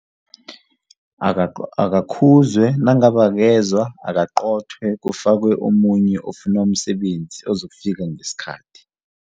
Akakhuzwe nangabe akezwa akaqothwe kufakwe omunye ofuna umsebenzi ozokufika ngesikhathi.